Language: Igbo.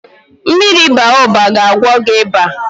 Mmiri Baoba ga agwọ gị ịba